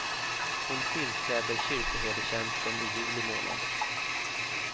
Hon tillträder kyrkoherdetjänsten i juli månad.